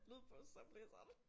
Lydbogsoplæseren